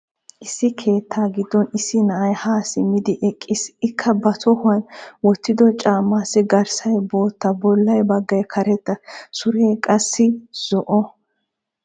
Issi keettaa giddon issi na'ay ha simmidi eqqiis. Ikka ba tohuwan woottiddo casmmaassi garssay bootta bolla baggay karetta. Suree qassi zo"o.